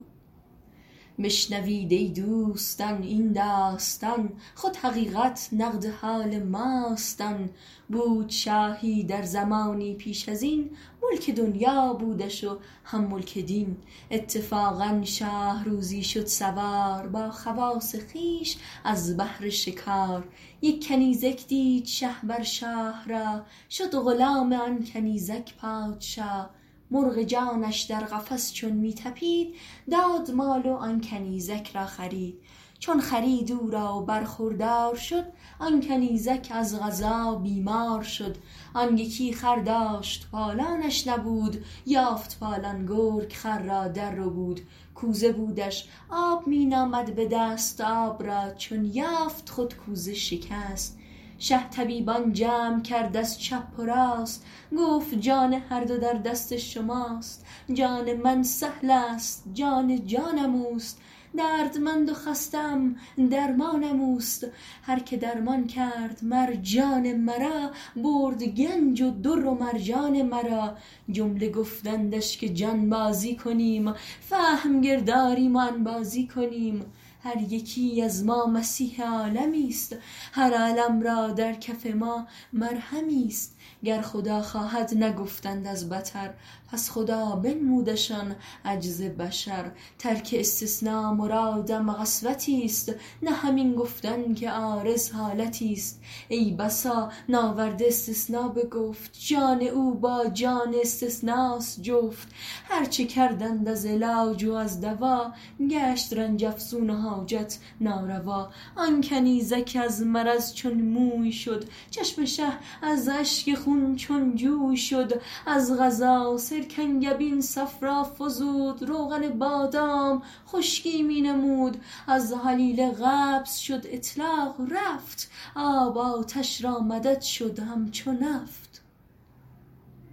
بشنوید ای دوستان این داستان خود حقیقت نقد حال ماست آن بود شاهی در زمانی پیش ازین ملک دنیا بودش و هم ملک دین اتفاقا شاه روزی شد سوار با خواص خویش از بهر شکار یک کنیزک دید شه بر شاه راه شد غلام آن کنیزک پادشاه مرغ جانش در قفس چون می طپید داد مال و آن کنیزک را خرید چون خرید او را و برخوردار شد آن کنیزک از قضا بیمار شد آن یکی خر داشت پالانش نبود یافت پالان گرگ خر را در ربود کوزه بودش آب می نامد بدست آب را چون یافت خود کوزه شکست شه طبیبان جمع کرد از چپ و راست گفت جان هر دو در دست شماست جان من سهلست جان جانم اوست دردمند و خسته ام درمانم اوست هر که درمان کرد مر جان مرا برد گنج و در و مرجان مرا جمله گفتندش که جانبازی کنیم فهم گرد آریم و انبازی کنیم هر یکی از ما مسیح عالمیست هر الم را در کف ما مرهمیست گر خدا خواهد نگفتند از بطر پس خدا بنمودشان عجز بشر ترک استثنا مرادم قسوتی ست نه همین گفتن که عارض حالتی ست ای بسا ناورده استثنا به گفت جان او با جان استثناست جفت هرچه کردند از علاج و از دوا گشت رنج افزون و حاجت ناروا آن کنیزک از مرض چون موی شد چشم شه از اشک خون چون جوی شد از قضا سرکنگبین صفرا فزود روغن بادام خشکی می نمود از هلیله قبض شد اطلاق رفت آب آتش را مدد شد همچو نفت